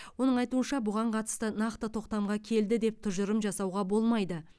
оның айтуынша бұған қатысты нақты тоқтамға келді деп тұжырым жасауға болмайды